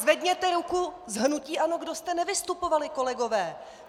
Zvedněte ruku z hnutí ANO, kdo jste nevystupovali, kolegové.